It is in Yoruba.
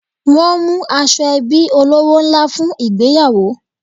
Wọ́n mú aṣọ ẹbí olówó ńlá fún ìgbéyàwó